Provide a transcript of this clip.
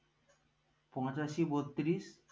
পঁচাশি বত্রিশ